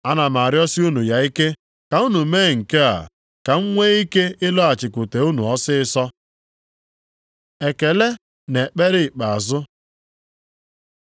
Ana m arịọsị unu ya ike, ka unu mee nke a, ka m nwee ike ịlọghachikwute unu ọsịịsọ. Ekele na ekpere ikpeazụ